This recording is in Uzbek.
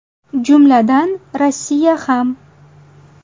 Jumladan, Rossiya ham.